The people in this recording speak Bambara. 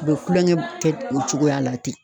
U be kulonkɛ kɛ o cogoya la ten.